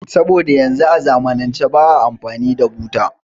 Saboda yanzu a zamanance ba a amfani da buta